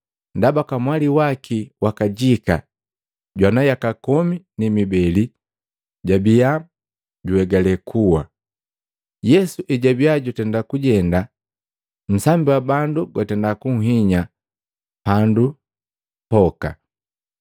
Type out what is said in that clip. ndaba kamwali waki wa kajika, jwana yaka komi ni mibele, jwabiya juhegale kuwa. Yesu ejwabiya jutenda kujenda, nsambi wa bandu gwatenda kunhinya pandi yoka.